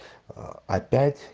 аа опять